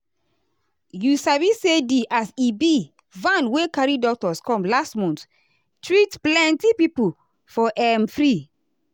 you sabi say di as e be van wey carry doctors come last month treat plenty people for um free.